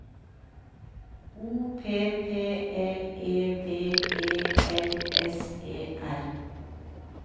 O P P L E V E L S E R